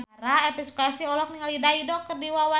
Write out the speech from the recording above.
Elvi Sukaesih olohok ningali Dido keur diwawancara